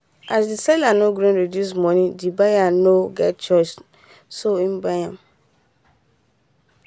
as the seller nor gree reduce money the buyer nor get choice so he buy am.